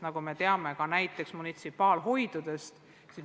Nagu me teame, on olemas ka munitsipaalhoid.